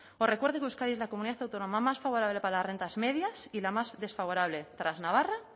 os recuerdo que euskadi es la comunidad autónoma más favorable para las rentas medias y la más desfavorable tras navarra